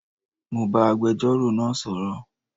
Mo bá agbẹjọ́rò náà sọ̀rọ̀